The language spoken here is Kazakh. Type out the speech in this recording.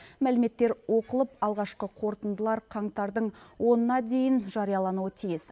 мәліметтер оқылып алғашқы қорытындылар қаңтардың онына дейін жариялануы тиіс